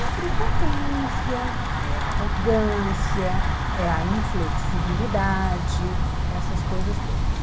É a prepotência, é a arrogância, é a inflexibilidade, essas coisas todas.